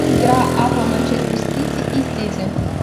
игра апл манчестер сити и сити